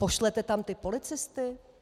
Pošlete tam ty policisty?